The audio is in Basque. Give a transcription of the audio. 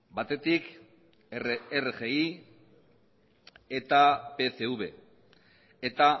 batetik rgi eta pcv eta